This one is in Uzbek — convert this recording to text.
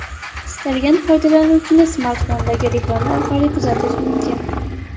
Istalgan foydalanuvchini smartfondagi reklama orqali kuzatish mumkin.